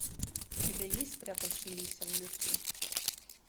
у тебя есть спрятавшиеся в лесу